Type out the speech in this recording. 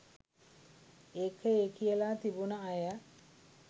ඒක ඒ කියලා තිබුන අය